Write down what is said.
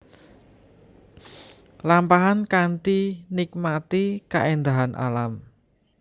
Lampahan kanthi nikmati kaéndahan alam